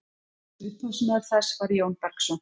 upphafsmaður þess var jón bergsson